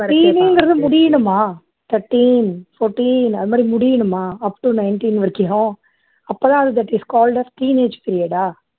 teen ங்குறது முடியணுமா thirteen, fourteen அது மாதிரி முடியணுமா up to nineteen வரைக்கும் ஹா அப்போ தான் அது that is called as teenage period ah